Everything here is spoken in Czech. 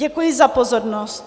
Děkuji za pozornost.